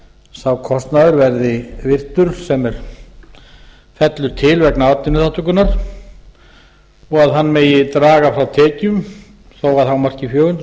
sá kostnaður verði virtur sem fellur til vegna atvinnuþátttökunnar og að hann megi draga frá tekjum þó að hámarki fjögur hundruð